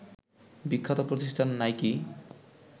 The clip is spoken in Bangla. বিখ্যাত প্রতিষ্ঠান নাইকি